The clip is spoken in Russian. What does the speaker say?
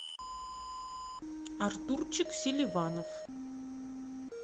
артурчик селиванов